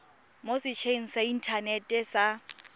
mo setsheng sa inthanete sa